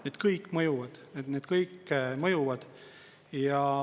Need kõik mõjuvad, need kõik mõjuvad.